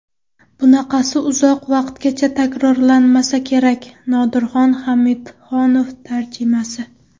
Bunaqasi uzoq vaqtgacha takrorlanmasa kerak... Nodirxon Hamidxonov tarjimasi !